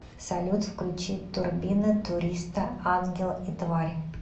салют включи турбина туриста ангел и тварь